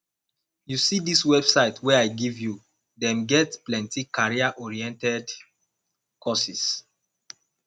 you see dis website wey i give you them get plenty careeroriented courses